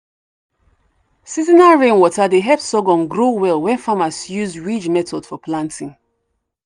seasonal rainwater dey help sorghum grow well when farmers use ridge method for planting.